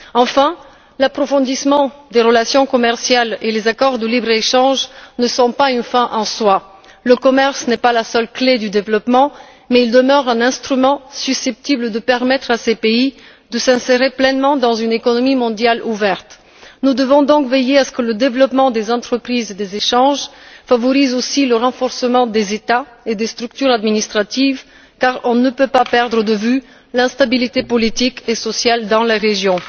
Enfin, l'approfondissement des relations commerciales et les accords de libre échange ne sont pas une fin en soi. Le commerce n'est pas la seule clef du développement, mais il demeure un instrument susceptible de permettre à ces pays de s'insérer pleinement dans une économie mondiale ouverte. Nous devons donc veiller à ce que le développement des entreprises et des échanges favorise aussi le renforcement des États et des structures administratives, car on ne peut pas perdre de vue l'instabilité politique et sociale dans ces régions.